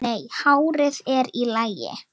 Nei, hárið er í lagi.